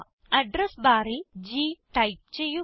address barൽ G type ചെയ്യുക